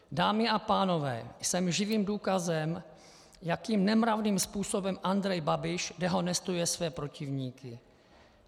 Dámy a pánové, jsem živým důkazem, jakým nemravným způsobem Andrej Babiš dehonestuje své protivníky.